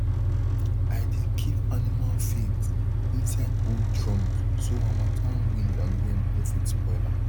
i dey keep animal feed inside old drums so harmattan wind and rain no fit spoil am